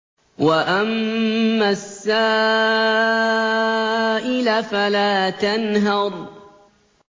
وَأَمَّا السَّائِلَ فَلَا تَنْهَرْ